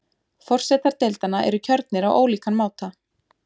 Forsetar deildanna eru kjörnir á ólíkan máta.